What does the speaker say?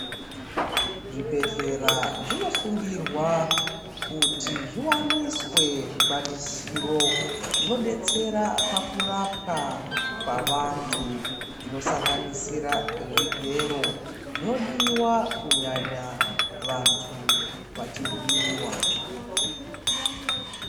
Zvibhehlera zvinosungirwa kuti zviwaniswe zvikwanisiro zvinodetsera pakurapwa kwavantu zvinosanganisira zvigero zvinodiwa kunyanya vantu vachivhiyiwa